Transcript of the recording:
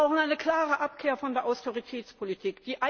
Wir brauchen eine klare Abkehr von der Austeritätspolitik!